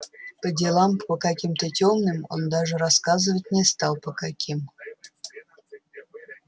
по делам по каким-то тёмным он даже рассказывать не стал по каким